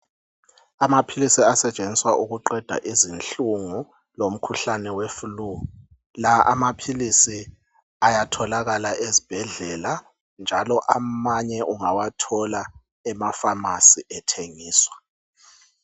Amaphilisi asetshenziswa ukuqeda izinhlungu lomkhuhlane weflu. La amaphilisi ayatholakala ezibhedlela njalo amanye ungawathola emafamasi ethengiswa.